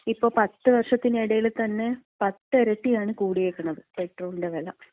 ഇപ്പൊ 10 വർഷത്തിനെടയില്ത്തന്നെ 10 ഇരട്ടിയാണ് കൂടിയേക്കണത് പെട്രോളിന്‍റെ വെല.